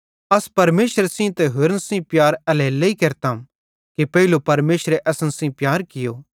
अस परमेशरे सेइं ते होरन सेइं एल्हेरेलेइ प्यार केरतम कि पेइलो परमेशरे असन सेइं प्यार कियो